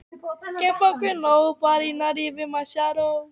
Spurningin bætir andrúmsloftið.